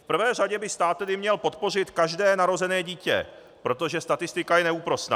V prvé řadě by stát tedy měl podpořit každé narozené dítě, protože statistika je neúprosná.